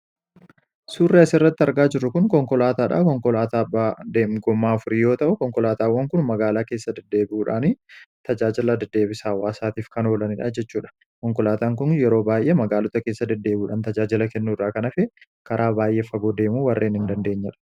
suurra as irratti argaa jiru kun konkolaataadha konkolaataa demgummaa furiyyoo ta'u konkolaataawwan kun magaalaa keessa deddeebuudhaan tajaajila deddeebisaawwaasaatiif kanoolaniin ajjechuudha konkolaataan kun yeroo baay'ee magaalota keessa deddeebuudhaan tajaajila kennu irraa kanafe karaa baay'ee faguu deemu warreen hin dandeenyera